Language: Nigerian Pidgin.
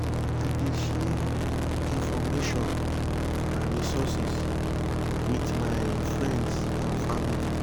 i dey share information and resources with my friends and family.